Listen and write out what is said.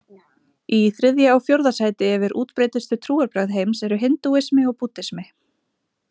Í þriðja og fjórða sæti yfir útbreiddustu trúarbrögð heims eru hindúismi og búddismi.